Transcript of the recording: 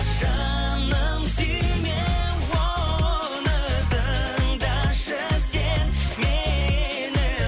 жаным сүйме оны тыңдашы сен мені